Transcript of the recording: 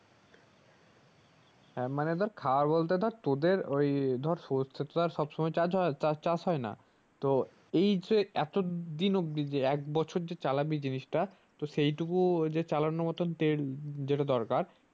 হ্যাঁ মানে ধর ওই ধর সরষে তা তো আর সবসময় চাজ হয় চাষ হয়না তো এই যে এতদিন অব্দি যে একবছর যে চালাবি জিনিসটা তো সেই টুকু ও চালানোর মতো তেল যেটা দরকার